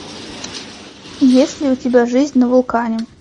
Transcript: есть ли у тебя жизнь на вулкане